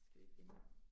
Skal lige finde